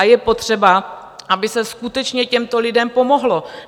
A je potřeba, aby se skutečně těmto lidem pomohlo.